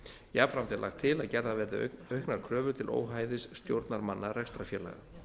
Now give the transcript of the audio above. jafnframt er lagt til að gerðar verði auknar kröfur til óhæfis stjórnarmanna rekstrarfélaga